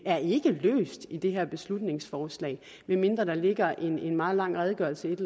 er ikke løst med det her beslutningsforslag medmindre der ligger en meget lang redegørelse og et